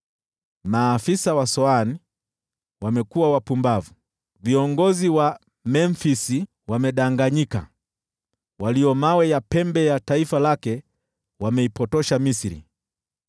Maafisa wa Soani wamekuwa wapumbavu, viongozi wa Memfisi wamedanganyika, walio mawe ya pembe ya taifa lake wameipotosha Misri.